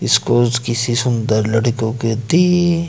इसको किसी सुंदर लड़कों के दिए--